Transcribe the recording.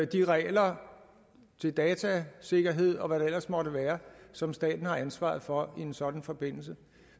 de regler til datasikkerhed og hvad der ellers måtte være som staten har ansvaret for i en sådan forbindelse